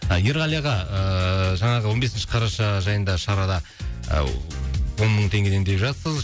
ерғали аға ыыы жаңағы он бесінші қараша жайында шарада ыыы он мың теңгеден деп жатсыз